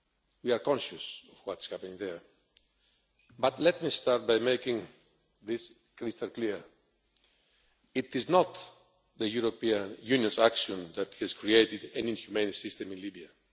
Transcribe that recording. We are conscious of what is happening there, but let me start by making one thing crystal clear it is not the European Union's action that has created an inhumane system in Libya.